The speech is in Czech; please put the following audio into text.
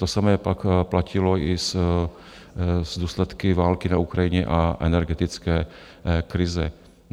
To samé pak platilo i s důsledky války na Ukrajině a energetické krize.